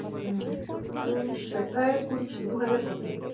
হম মানে উনিশশো প্রায় দু হাজার কোটি